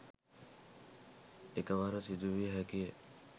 එකවර සිදුවිය හැකිය